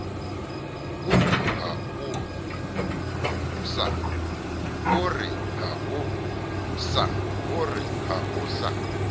o re ha o sa